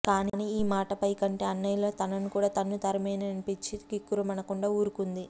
కానీ ఈ మాటే పైకంటే అన్నయ్యలు తనను కూడా తన్నుతారేమోననిపించి కిక్కురుమనకుండా ఊరుకుంది